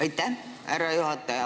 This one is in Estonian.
Aitäh, härra juhataja!